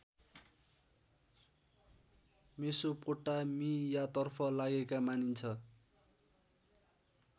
मेसोपोटामियातर्फ लागेका मानिन्छ